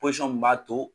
Pɔsɔn mun b'a to